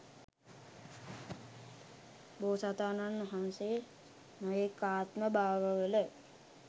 බෝසතාණන් වහන්සේ නොයෙක් ආත්ම භාව වල